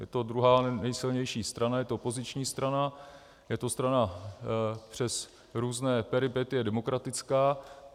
Je to druhá nejsilnější strana, je to opoziční strana, je to strana přes různé peripetie demokratická.